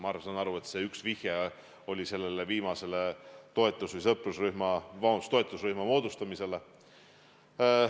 Ma saan aru, et üks vihje oli viimasele toetusrühma moodustamisele.